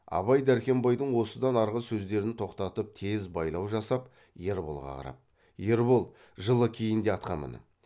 абай дәркембайдың осыдан арғы сөздерін тоқтатып тез байлау жасап ерболға қарап ербол жылы киін де атқа мін